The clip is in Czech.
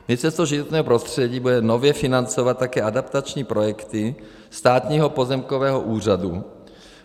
Ministerstvo životního prostředí bude nově financovat také adaptační projekty Státního pozemkové úřadu.